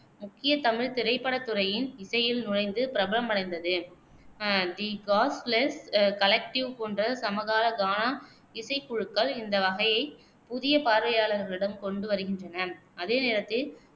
முக்கிய தமிழ் திரைப்படத் துறையின் இசையில் நுழைந்து பிரபலமடைந்தது தி காஸ்ட்லெஸ் கலெக்டிவ் போன்ற சமகால கானா இசைக்குழுக்கள் இந்த வகையை புதிய பார்வையாளர்களிடம் கொண்டு வருகின்றன, அதே நேரத்தில்